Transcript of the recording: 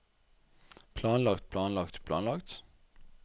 planlagt planlagt planlagt